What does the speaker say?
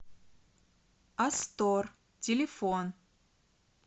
астор телефон